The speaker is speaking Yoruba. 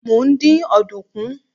mo n din ọdunkun